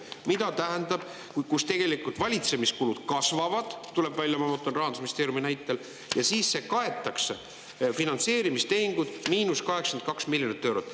Ma vaatan, et tegelikult valitsemiskulud kasvavad, see tuleb välja Rahandusministeeriumi näitel, ja siis see kaetakse: "finantseerimistehingud –82 miljonit eurot".